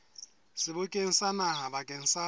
sebokeng sa naha bakeng sa